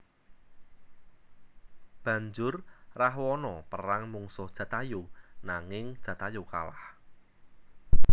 Banjur Rahwana perang mungsuh Jatayu nanging Jatayu kalah